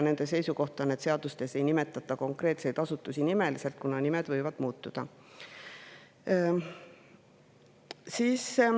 Nende seisukoht on, et seadustes ei nimetata konkreetseid asutusi nimeliselt, kuna nimed võivad muutuda.